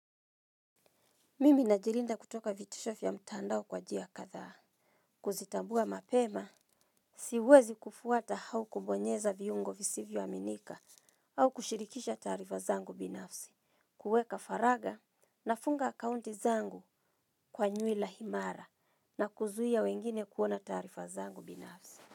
Mimi na jirinda kutoka vitisho vya mtandao kwa njia katha. Kuzitambua mapema, siwezi kufuata hau kubonyeza viungo visivyo aminika au kushirikisha taarifa zangu binafsi, kuweka faraga na funga akaunti zangu kwa nyuila himara na kuzuia wengine kuona taarifa zangu binafsi.